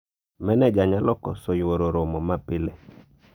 maneja nyalo koso yuoro romo ma pile